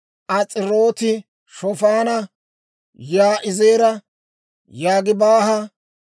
As'irooti-Shofaana, Yaa'izeera, Yogibaaha,